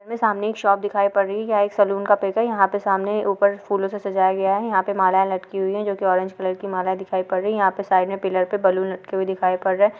सामने एक शॉप दिखाई पड़ रही है यह एक सेलून का पिक है यहाँ पे सामने ऊपर फूलों से सजाया गया है यहाँ पे माला लटकी हुई है जो कि ऑरेंज कलर की माला दिखाई पड़ रही है यहाँ पे साइड में पिलर पे बलून लटके हुए दिखाई पड़ रहे हैं।